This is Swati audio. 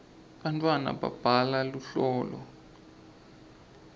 bantwana babhala luhlolo